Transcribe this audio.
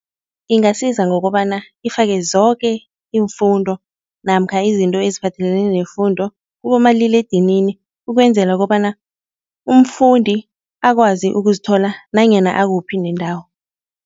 Ingasiza ngokobana ifake zoke iimfundo namkha izinto eziphathelene nefundo kubomaliledinini ukwenzela kobana umfundi akwazi ukuzithola nanyana akuphi nendawo.